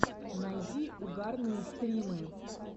найди угарные стримы